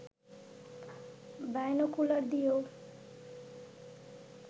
binocular দিয়েও